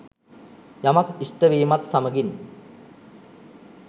යමක් ඉෂ්ට වීමත් සමඟින්